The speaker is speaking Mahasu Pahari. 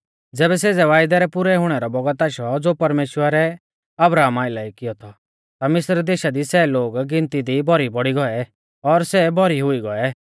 ज़ैबै सेज़ै वायदै रै पुरै हुणै रौ बौगत आशौ ज़ो परमेश्‍वरै अब्राहमा आइलै कियौ थौ ता मिस्र देशा दी सै लोग गिनती दी भौरी बौड़ी गौऐ और सै भौरी हुई गौऐ